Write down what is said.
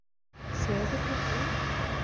Sefur litli engillinn?